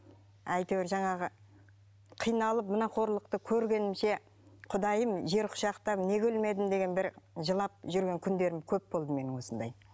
әйтеуір жаңағы қиналып мына қорлықты көргенімше құдайым жер құшақтап неге өлмедім деген бір жылап жүрген күндерім көп болды менің осындай